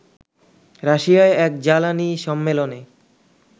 রাশিয়ায় এক জ্বালানী সম্মেলনে